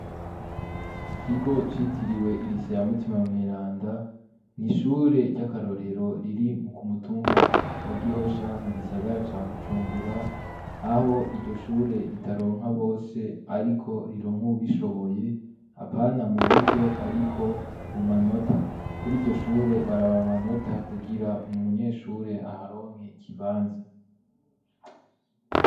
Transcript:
Ikigo citiriwe irise ya mutima mweranda nishure ry'akarorero riri mu ku mutumba wa gihosha mu gisagara ca gujumbura aho iryo shure ritaronka bose, ariko rironka ubishoboye apana mu buryo, ariko mu manota kuri iryo shure baraba manota kugira umunyeshure aharonke ikibanza.